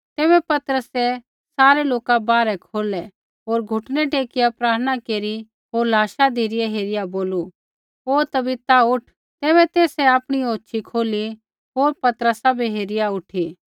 तैबै पतरसै सारै लोका बाहरै कौढै होर घुटनै टेकिआ प्रार्थना केरी होर लाशा धिरै हेरिआ बोलू हे तबीता उठ तैबै तेसै आपणी औछ़ी खोली होर पतरसा बै हेरिआ उठी